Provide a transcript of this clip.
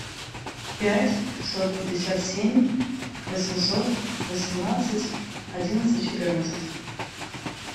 пять пятьсот пятьдесят семь восемьсот восемнадцать одиннадцать четырнадцать